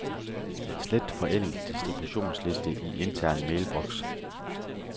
Slet forældet distributionsliste i intern mailbox.